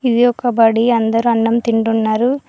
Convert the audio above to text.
ఇది ఒక బడి అందరూ అన్నం తిండున్నరు .